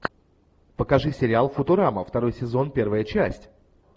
покажи сериал футурама второй сезон первая часть